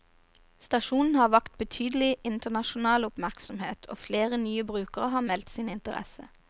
Stasjonen har vakt betydelig internasjonal oppmerksomhet, og flere nye brukere har meldt sin interesse.